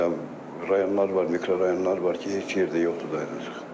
Məsələn, rayonlar var, mikrorayonlar var ki, heç yerdə yoxdur dayanacaq.